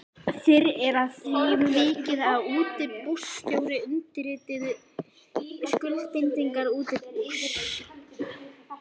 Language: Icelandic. Fyrr er að því vikið að útibússtjóri undirriti skuldbindingar útibúsins.